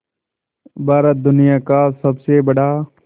भारत दुनिया का सबसे बड़ा